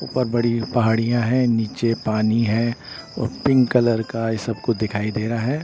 ऊपर बड़ी पहाड़ियां हैं नीचे पानी है और पिंक कलर का ये सब कुछ दिखाई दे रहा है।